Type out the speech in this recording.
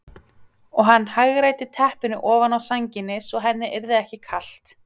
Og hann hagræddi teppinu ofan á sænginni svo henni yrði ekki kalt.